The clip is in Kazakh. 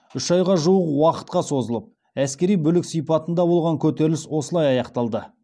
үш айға жуық уақытқа созылып әскери бүлік сипатында болған көтеріліс осылай аяқталды